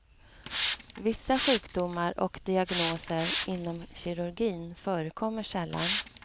Vissa sjukdomar och diagnoser inom kirurgin förekommer sällan.